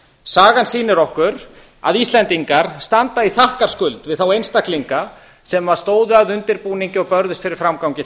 sagan sýnir okkur að íslendingar standa í þakkarskuld við þá einstaklinga sem stóðu að undirbúningi og börðust fyrir framgangi